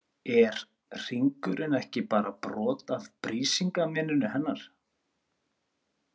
Er hringurinn ekki bara brot af Brísingameninu hennar?